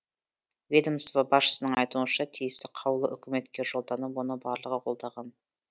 ведомство басшысының айтуынша тиісті қаулы үкіметке жолданып оны барлығы қолдаған